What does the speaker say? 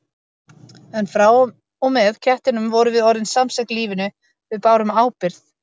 En frá og með kettinum vorum við orðin samsek lífinu, við bárum ábyrgð.